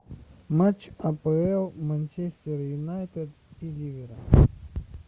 матч апл манчестер юнайтед и ливера